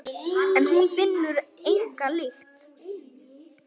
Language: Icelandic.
En hún finnur enga lykt.